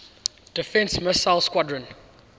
defense missile squadron